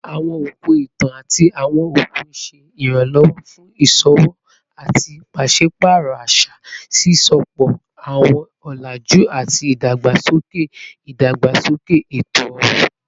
Awọn okun itan ati awọn okun ṣe iranlọwọ fun iṣowo ati paṣipaarọ aṣa, sisopọ awọn ọlaju ati idagbasoke idagbasoke eto-ọrọ